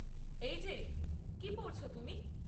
এই যে, কী পড়ছ তুমি?